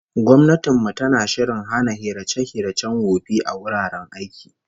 Gwamnatin mu tana shirin hana hirace-hiracen wofi a wuraren aiki